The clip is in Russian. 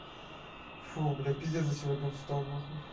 фу блядь пиздец за сегодня устал нахуй